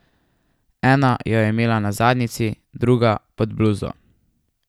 Ena jo je imela na zadnjici, druga pod bluzo...